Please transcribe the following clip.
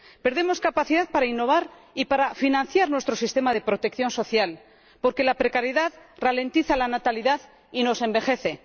Perdemos capacidad para innovar y para financiar nuestro sistema de protección social, porque la precariedad ralentiza la natalidad y nos envejece.